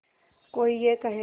कोई ये कहेगा